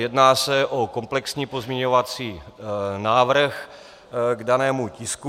Jedná se o komplexní pozměňovací návrh k danému tisku.